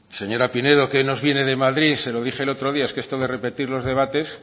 señora pinedo qué nos viene de madrid se lo dije el otro día es que esto de repetir los debates